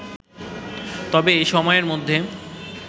তবে এই সময়ের মধ্যে